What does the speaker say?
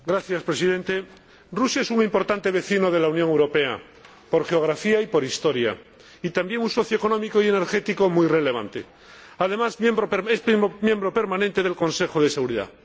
Señor Presidente, Rusia es un importante vecino de la Unión Europea, por geografía y por historia, y también un socio económico y energético muy relevante. Además, es miembro permanente del Consejo de Seguridad.